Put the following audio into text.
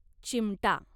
चिमटा